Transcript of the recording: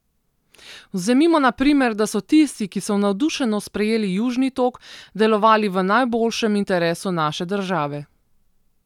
Vzemimo na primer, da so tisti, ki so navdušeno sprejeli Južni tok, delovali v najboljšem interesu naše države.